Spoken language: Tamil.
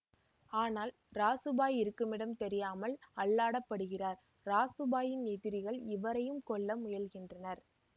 ஆனால் ராசு பாய் இருக்குமிடம் தெரியாமல் அல்லாடப்படுகிறார் ராசு பாயின் எதிரிகள் இவரையும் கொல்ல முயல்கின்றனர்